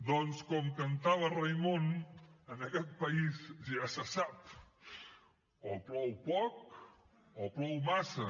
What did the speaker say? doncs com cantava raimon en aquest país ja se sap o plou poc o plou massa